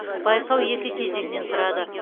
байқау екі кезеңнен тұрады